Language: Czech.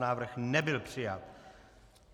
Návrh nebyl přijat.